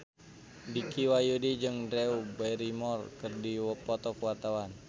Dicky Wahyudi jeung Drew Barrymore keur dipoto ku wartawan